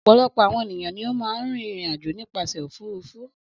Ọ̀pọ̀lọpọ̀ àwọn ènìyàn ni ó máa ń rìnrìn-àjò nípasẹ̀ òfurufú.